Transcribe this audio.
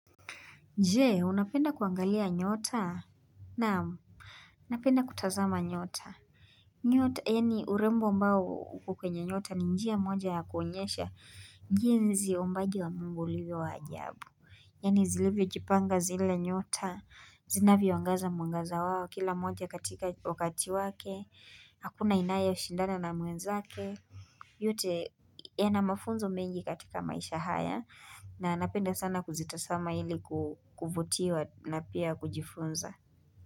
Je, unapenda kuangalia nyota? Naam, napenda kutazama nyota. Nyota, yaani urembo ambao uko kwenye nyota, ni njia moja ya kuonyesha jinsi uumbaji wa mungu ulivyo wa ajabu. Yaani zilivyojipanga zile nyota, zinavyoangaza mwangaza wao, kila mmoja katika wakati wake, hakuna inayeshindana na mwenzake, yote yana mafunzo mengi katika maisha haya, na napenda sana kuzitazama ili kuvutiwa na pia kujifunza.